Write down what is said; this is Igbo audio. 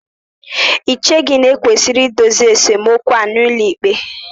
Ì cheghị na e kwesịrị idozi esemokwu a n'ụlọikpe?